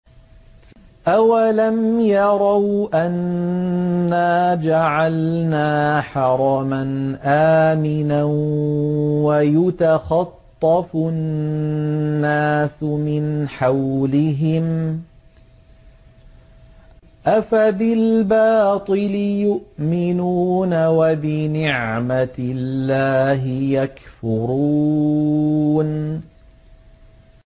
أَوَلَمْ يَرَوْا أَنَّا جَعَلْنَا حَرَمًا آمِنًا وَيُتَخَطَّفُ النَّاسُ مِنْ حَوْلِهِمْ ۚ أَفَبِالْبَاطِلِ يُؤْمِنُونَ وَبِنِعْمَةِ اللَّهِ يَكْفُرُونَ